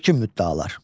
Yekun müddəalar.